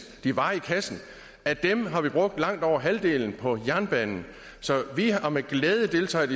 de var i kassen af dem har vi brugt langt over halvdelen på jernbanen så vi har med glæde deltaget